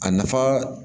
A nafa